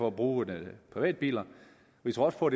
at bruge privatbiler vi tror også på